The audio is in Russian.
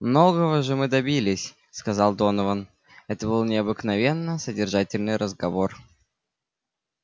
многого же мы добились сказал донован это был необыкновенно содержательный разговор